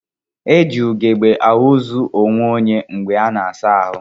E ji ugebe ahụzụ onweonye mgbe a na-asa ahụ